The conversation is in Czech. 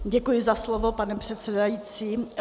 Děkuji za slovo, pane předsedající.